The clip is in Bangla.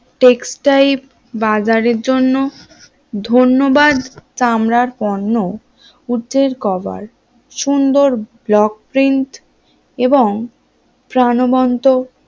textile বাজারের জন্য ধন্যবাদ চামড়ার পণ্য উটের কভার সুন্দর ব্লক প্রিন্ট এবং প্রাণবন্ত